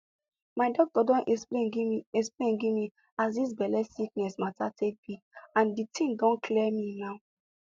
my doctor don explain give me explain give me as dis belle sickness mata take be and di tin don clear me now